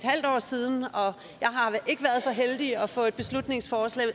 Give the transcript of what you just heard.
halvt år siden og jeg har ikke været så heldig at få et beslutningsforslag